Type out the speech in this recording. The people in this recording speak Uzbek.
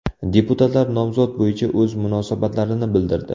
Deputatlar nomzod bo‘yicha o‘z munosabatlarini bildirdi.